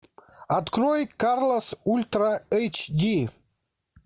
открой карлос ультра эйч ди